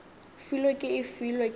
filwe ke e filwe ke